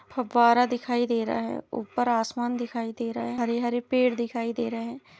फव्वारा दिखाई दे रहा है ऊपर आसमान दिखाई देर रहा है हरे- हरे पेड़ दिखाई दे रहे है।